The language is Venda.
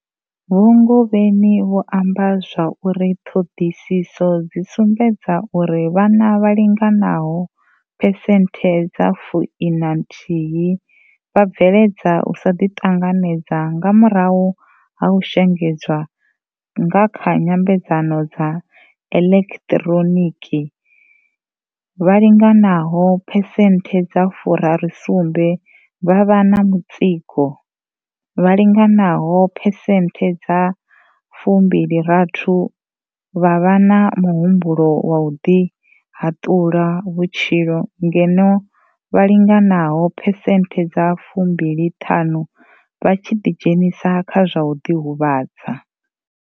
Vho Ngobeni vho amba zwa uri ṱhoḓisiso dzi sumbedza uri vhana vha linganaho phesenthe dza fu ina nthihi vha bveledza u sa ḓi ṱanganedza nga murahu ha u shengedzwa nga kha nyambedzano dza eḽekiḓhironiki, vha linganaho phesenthe dza furaru sumbe vha vha na mutsiko, vha linganaho phesenthe dza fumbili rathi vha vha na muhumbulo wa u ḓi haḓula vhutshilo ngeno vha linganaho phesenthe dza fumbili ṱhanu vha tshi ḓi dzhenisa kha zwa u ḓi huvhadza.